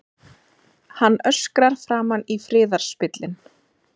Hann öskrar framan í friðarspillinn.